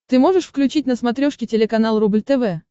ты можешь включить на смотрешке телеканал рубль тв